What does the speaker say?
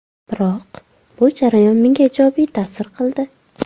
Biroq bu jarayon menga ijobiy ta’sir qildi.